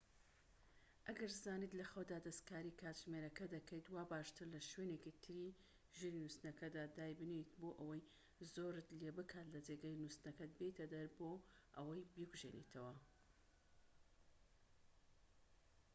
ئەگەر زانیت لە خەودا دەستکاری کاتژمێرەکە دەکەیت وا باشترە لە شوێنێکی تری ژووری نوستنەکەتدا دای بنێیت بۆ ئەوەی زۆرت لێبکات لە جێگەی نوستنەکەت بێیتە دەر بۆ ئەوەی بیکوژێنیتەوە